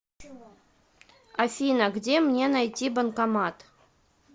афина где мне найти банкомат